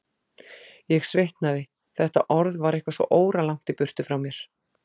Ég svitnaði, þetta orð var eitthvað svo óralangt í burtu frá mér.